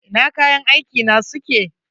Ina kayan aiki na suke?